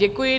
Děkuji.